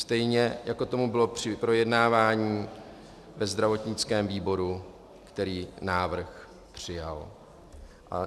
Stejně, jako tomu bylo při projednávání ve zdravotnickém výboru, který návrh přijal.